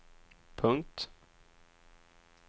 punkt